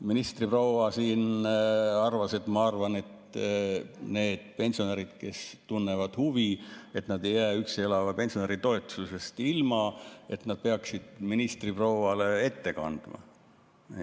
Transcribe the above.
Ministriproua siin arvas, et ma arvan, et need pensionärid, kes tunnevad huvi, et nad ei jää üksi elava pensionäri toetusest ilma, peaksid ministriprouale ette kandma.